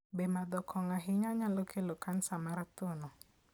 Be madho kong'o ahinya nyalo kelo kansa mar thuno?